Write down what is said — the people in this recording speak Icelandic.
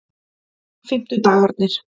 fimmtudagarnir